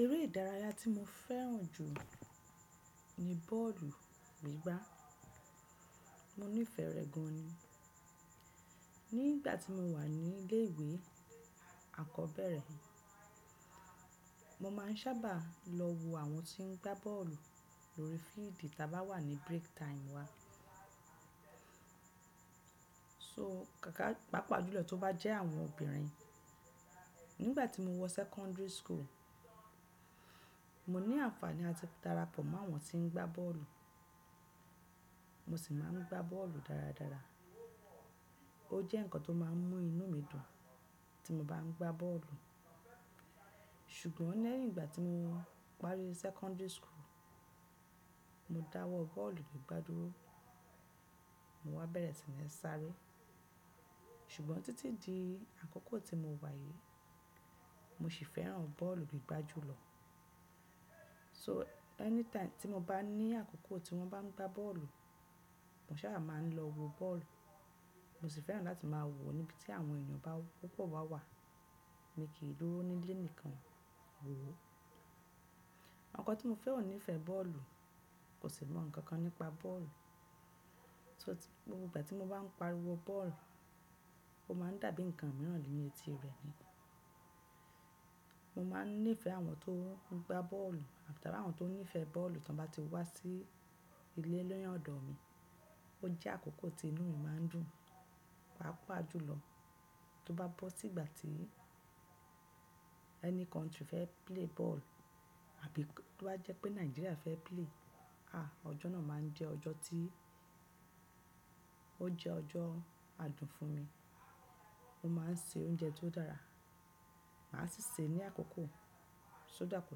Eré ìdárayá tí mo fẹ́ràn jù ní bọ́ọ̀lù gbígbá. Mo nífẹ̀ẹ́ rẹ̀ gan ni. Nígbà tí mo wà ní ilé iwè akọ́bẹ́rẹ́, mo máà ń sábà lọ wo àwọn tí ń gbá bọ́ọ̀lù lórí fíídì tá bá wà ní break time wa. Mo nífẹ̀ẹ́ rẹ̀ gan ni. Nígbà tí mo wọ secondary school, mo ní àǹfààní àti darapọ̀ mọ́ àwọn tí ń gbá bọ́ọ̀lù. Mo sì máa ń gbá bọ́ọ̀lù dáradára. Ó jẹ́ ǹkan tó máà ń mú inú mi dùn tí mo bá ń gbá bọ́ọ̀lù. Ṣùgbọ́n leyin ìgbà tí mo parí secondary school, mo dáwọ́ bọ́ọ̀lù gbígbà dúró. Mo wá bẹ̀rẹ̀ si ni n sáré. Ṣùgbọ́n títí di àkókò tí mo wà yìí, mo sì fẹ́ràn bọ́ọ̀lù gbígbá jùlọ. So, anytime tí mo bá ní àkókò tí wọ́n bá ń gbá bọ́ọ̀lù, mo sábà máa ń lọ wo bọ́ọ̀lù. Mo sì fẹ́ràn láti máa wò ó níbi tí àwọn èèyàn bá púpọ̀ bà wà. Mi kì í n durò ní ilé nìkan wò ó. Oko tí mo fẹ́ ò nífẹ̀ẹ́ bọ́ọ̀lù, kò sì mọ̀ ǹkan kan nípa bọ́ọ̀lù. So, gbogbo ìgbà tí mo bá ń pariwo bọ́ọ̀lù, ó máa ń dàbí ǹkan mìíràn lì ẹti rẹ̀ ni. Mo máa ń nífẹ̀ẹ́ àwọn tó ń gbá bọ́ọ̀lù àbí tá bá wà àwọn tó nífẹ̀ẹ́ bọ́ọ̀lù tí wọ́n bá ti wá sí ilé lẹ́yìn ọ̀dọ̀ mi. Ó jẹ́ àkókò tí inú mi máa ń dùn. Paápàá jùlọ tó bá bọ́ sí ìgbà tí any country fẹ́ play ball àbí tó bá jẹ́ pé Nigeria fẹ́ play, ah ọjọ́ náà máa ń jẹ́ ọjọ́ tí ó jẹ́ ọjọ́ adùn fún mi. Mo máa ń se oúnjẹ tó dára. Màá sì se é ní àkókò, so that kò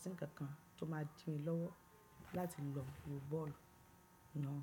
sí ǹkan kan tó máa dí mi lọ́wọ́ láti lọ wo bọ́ọ̀lù náà.